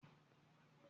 Lọ sí ilé-ìwé